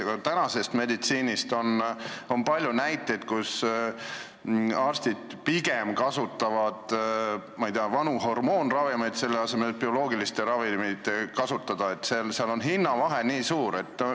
Ka praegusest meditsiinist on palju näiteid, kus arstid pigem kasutavad, ma ei tea, vanu hormoonravimeid bioloogilise ravimi asemel, sest hinnavahe on nii suur.